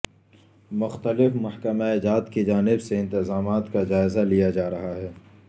مختلف محکمہ جات کی جانب سے انتظامات کا جائزہ لیا جارہاہے